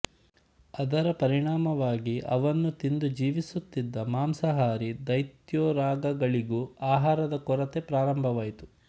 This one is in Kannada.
ಅದರ ಪರಿಣಾಮವಾಗಿ ಅವನ್ನು ತಿಂದು ಜೀವಿಸುತ್ತಿದ್ದ ಮಾಂಸಾಹಾರೀ ದೈತ್ಯೋರಗಗಳಿಗೂ ಆಹಾರದ ಕೊರತೆ ಪ್ರಾರಂಭವಾಯಿತು